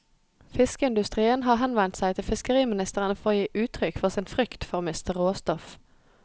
Fiskeindustrien har henvendt seg til fiskeriministeren for å gi uttrykk for sin frykt for å miste råstoff.